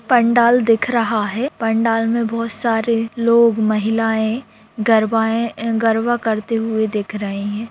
पंडाल दिख रहा है पंडाल में बहुत सारे लोग महिलाये गरबाये गरबा करते हुए दिख रहे हैं।